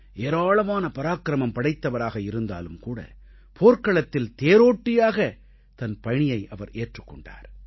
ஏராளமான பராக்கிரமம் படைத்தவராக இருந்தாலும் கூட போர்க்களத்தில் தேரோட்டியாக தன் பணியை அவர் ஏற்றுக் கொண்டார்